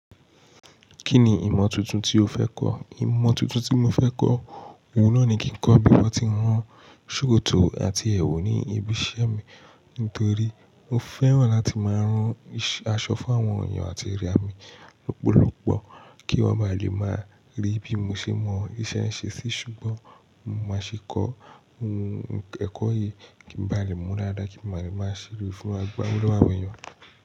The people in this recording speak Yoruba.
Kí ni ìmọ̀ tuntun tí o fẹ́ kọ́? Ìmọ̀ tuntun tí mo fẹ́ kọ́, òun náà ni kí n kọ́ bí wọ́n ti ń rán ṣòkòtò àti ẹwù ní ibi iṣẹ́ mi nítorí mo fẹ́ràn láti máa rán aṣọ fún àwọn èèyàn àti rẹ mi lọ́pọ̀lọpọ̀ kí wọ́n máa lè máa rí bí mo ṣe mọ iṣẹ́ ṣe sí. Ṣùgbọ́n mo má ṣe kọ́ ẹ̀kọ́ yìí, kí n nbá lè mọ́ dáadáa kí nba lè máa ṣe gbá owo lọ́wọ́ àwọn èèyàn.